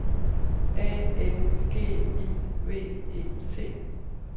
A N G I V E T